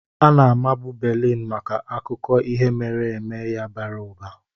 Ana-amabu Berlin maka akụkọ ihe mere eme ya bara ụba.